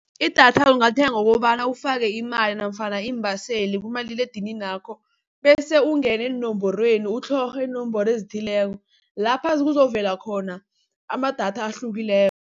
Idatha ungalithenga ngokobana ufake imali nafana iimbaseli kumaliledininakho, bese ungene eenomborweni utlhorhe inomboro ezithileko lapha kuzokuvela khona amadatha ahlukileko.